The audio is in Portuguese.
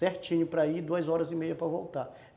Certinho para ir, duas horas e meia para voltar.